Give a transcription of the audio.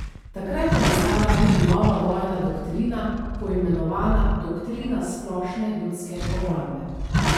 Takrat je nastala tudi nova vojna doktrina, poimenovana doktrina splošne ljudske obrambe.